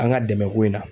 An ka dɛmɛ ko in na